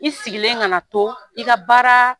I sigilen kana to i ka baara